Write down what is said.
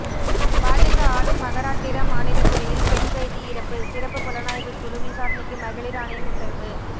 பாஜக ஆளும் மகாராட்டிர மாநில சிறையில் பெண் கைதி இறப்பு சிறப்பு புலனாய்வுக் குழு விசாரணைக்கு மகளிர் ஆணையம் உத்தரவு